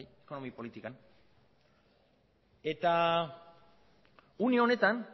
ekonomi politikan eta une honetan